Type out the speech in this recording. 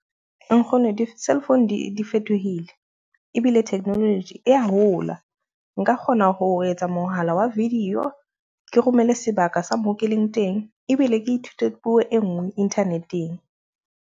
Nkgono di-cell phone di di fetohile, ebile technology e ya hola. Nka kgona ho etsa mohala wa video, ke romele sebaka sa moo ke leng teng ebile ke ithute puo e ngwe internet-eng.